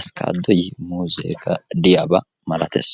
avokaadoy de'ees.